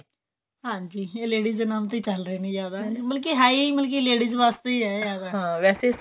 ਹਾਂਜੀ ਇਹ ladies ਦੇ ਨਾਮ ਤੋਂ ਹੀ ਚਲ ਰਹੇ ਨੇ ਜਿਆਦਾ ਮਤਲਬ ਕਿ ਹੈ ਹੀ ਮਤਲਬ ਕਿ ladies ਵਾਸਤੇ ਹੈ ਜਿਆਦਾ